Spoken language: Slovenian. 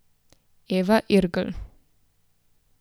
Eva Irgl.